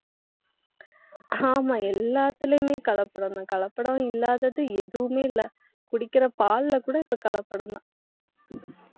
ஆமா, எல்லாத்திலேயுமே கலப்படம்தான். கலப்படம் இல்லாதது எதுவுமே இல்லை. குடிக்கிற பால்ல கூட, இப்ப கலப்படம்தான்.